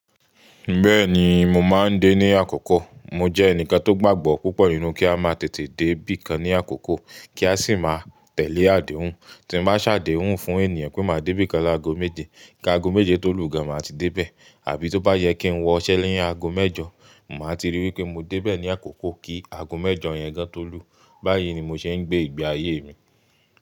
Bẹ́ẹ̀ni mo máa ń dé ní àkókò. Mo jẹ́ ẹnìkan tó gbàgbọ́ púpọ̀ nínú kí a máa tètè dé bí i kan ní àkókò kí a sì má tẹ̀lé àdéhùn. Tí mo bá ṣàdéhùn fún ènìyàn pé màá dé bí i kan lágo méje, kí aago méje tó lù gan an máa ti dé bẹ. Àbí tó bá yẹ kí ń wọ ise nì aago mẹ́jọ, máa ti ríi wí pé mo dé bẹ̀ ní àkókò kí aago mẹ́jọ yẹn gan tó lù. Báyìí ni mo ṣe ń gbé ìgbé ayé mi.